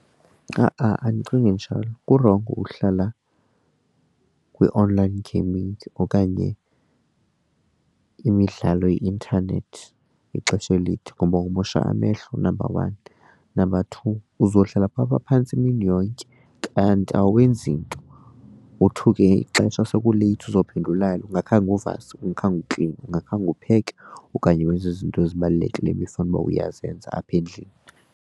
Ha-a andicingi njalo kurongo uhlala kwi-online gaming okanye imidlalo yeintanethi ixesha elide ngoba umosha amehlo number one, number two uzohlala phaa phantsi imini yonke kanti awenzi nto wothuke ixesha sekuleythi uzophinde ulale ungakhange uvase, ungakhange ukline, ungakhange upheke okanye wenze izinto ezibalulekileyo ebefanuba uyazenza apha endlini.